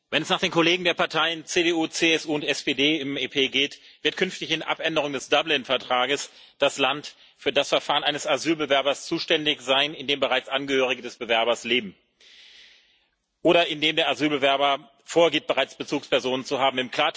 Wenn es nach den Kollegen der Parteien CDU, CSU und SPD im EP geht, wird künftig in Abänderung des Dublin Vertrags das Land für das Verfahren eines Asylbewerbers zuständig sein, in dem bereits Angehörige des Bewerbers leben oder in dem der Asylbewerber vorgibt, bereits Bezugspersonen zu haben.